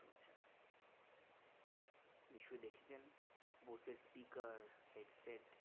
নিশ্চয়ই দেখেছেন বোসের speaker headset